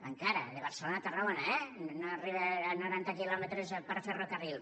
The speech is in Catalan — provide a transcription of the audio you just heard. encara de barcelona a tarragona eh no arriba a noranta quilòmetres per ferrocarril